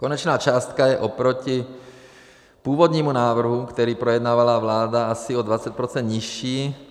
Konečná částka je oproti původnímu návrhu, který projednávala vláda, asi o 20 % nižší.